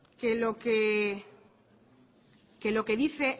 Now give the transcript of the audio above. que lo que dice